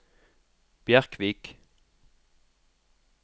Bjerkvik